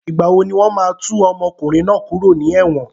Ìgbà wo ni wọn máa tú ọmọkùnrin náà kúrò ní ẹ̀wọ̀n?